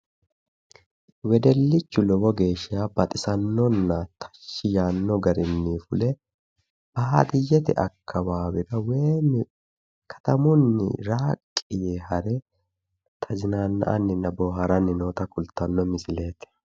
Wedellichu lowo geeshsha baxisannonna tashshi yaanno garinni fule baadiyyete akkawaawera woyi katamunni raaqqi yee hare tazinaanna"anninna boohaaranni noota kultanno misileeti.